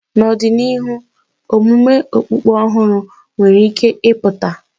N'ọdịnihu, omume okpukpe ọhụrụ nwere ike ịpụta.